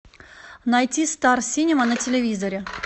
найти стар синема на телевизоре